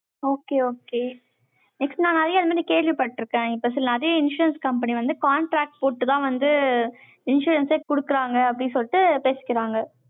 okay, okay. next, நான் நிறைய இது மாதிரி கேள்விப்பட்டிருக்கேன். இப்ப சில நிறைய insurance company வந்து, contract போட்டுத்தான் வந்து, insurance ஏ கொடுக்குறாங்க, அப்படின்னு சொல்லிட்டு பேசிக்கிறாங்க.